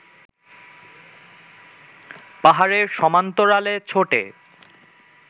পাহাড়ের সমান্তরালে ছোটে